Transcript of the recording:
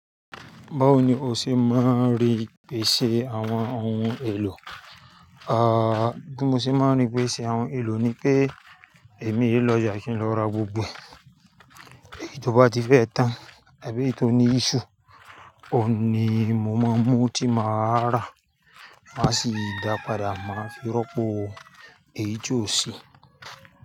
Báwo ni o ṣe máa ń rí pé ṣe àwọn ohun èlò? Ah, bí mo ṣe máa ń rí pé ṣe àwọn ohun èlò ni pé èmi i e lọ oja kí n lọ ra gbogbo e, tó bá ti fẹ́ tán àbí èyí tó ní issue. Ó ni mo máa mú tí màá rà, máa sì dá padà, máa fi rọ́pò èyí tí ò sí.